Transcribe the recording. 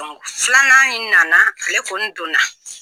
filanan in na na ale kɔni don na.